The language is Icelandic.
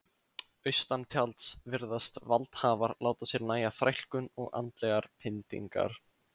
Austantjalds virðast valdhafar láta sér nægja þrælkun og andlegar pyndingar.